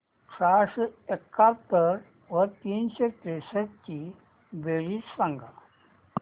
सहाशे एकाहत्तर व तीनशे त्रेसष्ट ची बेरीज सांगा